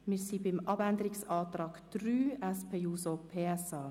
Wir sind beim Abänderungsantrag der SP-JUSO-PSA, Marti, Bern, angelangt.